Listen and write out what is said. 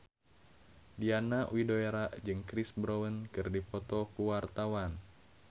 Diana Widoera jeung Chris Brown keur dipoto ku wartawan